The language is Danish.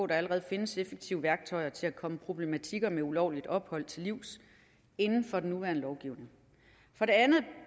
der allerede findes effektive værktøjer til at komme problematikker om ulovligt ophold til livs inden for den nuværende lovgivning for det andet